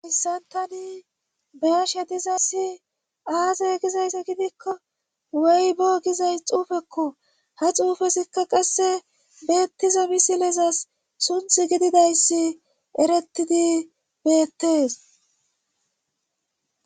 hayssantani beyasha dizassi aaze gizayssa gidikko wey bo gizays xuufekko ha xuufesikka qasse beettiza misilesas sunth gididayssi erettidi beettees